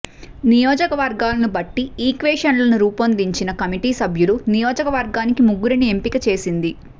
నియోజకవర్గాలను బట్టి ఈక్వెషన్లను రూపొందించిన కమిటి సభ్యులు నియోజకవర్గానికి ముగ్గురిని ఎంపిక చేసింది